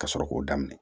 Ka sɔrɔ k'o daminɛ